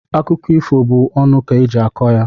Akụkọ ifo bụ ọnụ ka eji akọ ya.